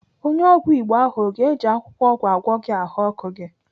Onye ọgwụ Igbo ahụ ọ ga-eji akwụkwọ ọgwụ agwọ gị ahụọkụ gị?